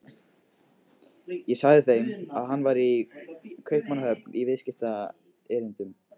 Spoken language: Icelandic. Ég sagði þeim að hann væri í Kaupmannahöfn í viðskiptaerindum.